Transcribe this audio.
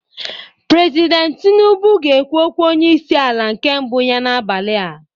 President tinubu ga-ekwu okwu onye isi ala nke mbụ ya n'abalị a